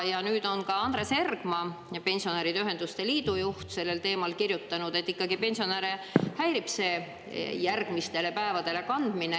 Ja nüüd on ka Andres Ergma, Pensionäride Ühenduste Liidu juht, sellel teemal kirjutanud, et pensionäre häirib see järgmistele päevadele kandmine.